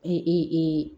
E e e